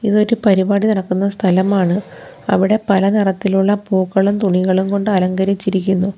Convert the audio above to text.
ഇത് ഒരു പരിപാടി നടക്കുന്ന സ്ഥലമാണ് അവിടെ പല നിറത്തിലുള്ള പൂക്കളും തുണികളും കൊണ്ട് അലങ്കരിച്ചിരിക്കുന്നു.